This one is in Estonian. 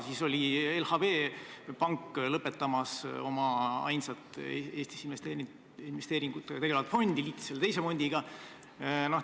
Siis oli LHV Pank lõpetamas oma ainsa Eesti investeeringutega tegeleva fondi tegevust, see liideti teise fondiga.